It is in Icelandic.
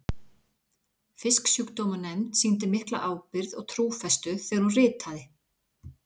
Fisksjúkdómanefnd sýndi mikla ábyrgð og trúfestu þegar hún ritaði